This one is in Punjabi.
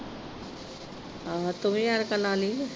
ਆਹੋ ਤੁਵੀਂ ਐਨਕਾਂ ਲਾ ਲੀ।